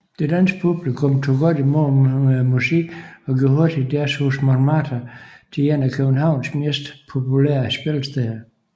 Det danske publikum tog godt imod musikken og gjorde hurtigt Jazzhus Montmartre til et af Københavns mest populære spillesteder